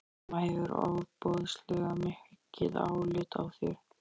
Mamma hefur ofboðslega mikið álit á þér!